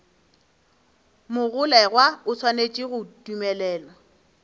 mogolegwa o swanetše go dumelelwa